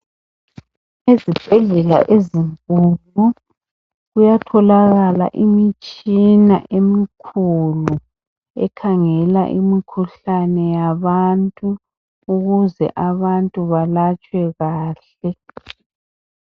Ezibhedlela ezinkulu kuyatholakala imitshina emkhulu ekhangela imkhuhlane yabantu, ukuze abantu balatshwe kahle.